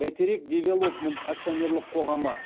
бәйтерек девелопмент акционерлік қоғамы